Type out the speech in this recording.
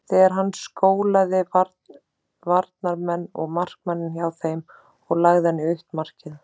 Þegar hann skólaði varnarmenn og markmanninn hjá þeim og lagði hann í autt markið.